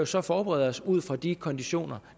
så forberede os ud fra de konditioner